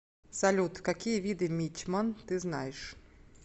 салют какие виды мичман ты знаешь